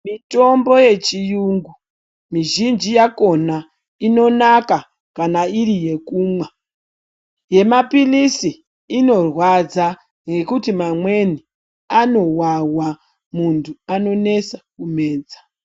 Mitombo ye chiyungu mizhinji yakona inonaka kana iri yekumwa ye mapilizi inorwadza ngekuti mamweni ano wawa muntu anonesa kumedza.